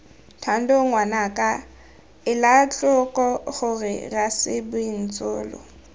thando ngwanaka elatlhoko gore rasebintsolo